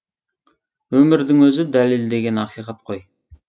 өмірдің өзі дәлелдеген ақиқат қой